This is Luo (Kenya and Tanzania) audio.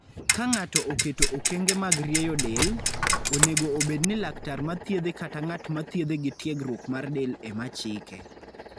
Ka ng'ato oketo okenge mag rieyo del, onego obed ni laktar ma thiedhe kata ng'at ma thiedhe gi tiegruok mar del ema chike.